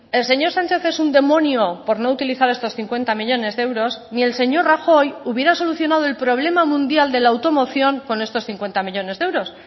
el señor sánchez es un demonio por no utilizar estos cincuenta millónes de euros ni el señor rajoy hubiera solucionado el problema mundial de la automoción con estos cincuenta millónes de euros